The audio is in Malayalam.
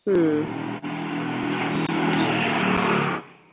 ഉം